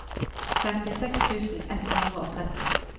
femtiseks tusen ett hundre og tretti